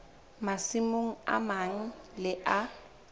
masimong a mang le a